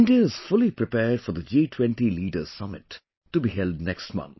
India is fully prepared for the G20 Leaders Summit to be held next month